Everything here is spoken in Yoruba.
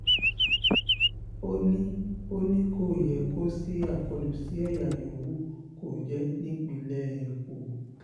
ó ní ó ní kò um yẹ kó ṣí àkọlù sí ẹ̀yà yòówù kó jẹ́ nípínlẹ̀ um èkó